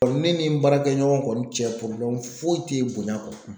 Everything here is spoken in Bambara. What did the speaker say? Ne ni n baarakɛɲɔgɔn kɔni cɛ foyi tɛ bonya kɔ